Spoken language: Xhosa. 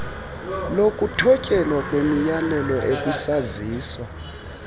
lokuthotyelwa kwemiyalelo ekwisaziso